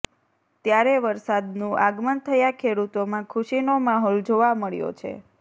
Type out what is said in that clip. ત્યારે વરસાદનું આગમન થયા ખેડૂતોમાં ખુશીનો માહોલ જોવા મળ્યો છે